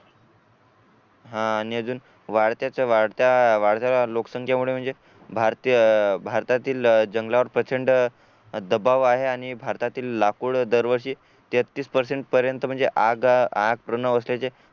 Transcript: हा आणि अजून वाढत्या वाढत्या वाढत्या लोकसंख्येमुळे म्हणजे भारती अह भारतातील जंगलावर प्रचंड दबाव आहे आणि भारतातील लाकूड दरवर्षी तेहतीस पर्सेंट पर्यंत म्हणजे आग आग पूर्ण व्यवस्थेचे